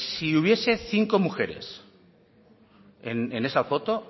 si hubiese cinco mujeres en esa foto